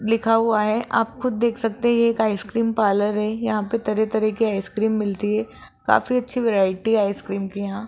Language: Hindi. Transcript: लिखा हुआ है आप खुद देख सकते हैं ये एक आइसक्रीम पार्लर है यहां पे तरह तरह की आइसक्रीम मिलती है काफी अच्छी वैरायटी है आइसक्रीम की यहां।